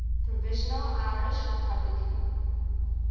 provisional irish republican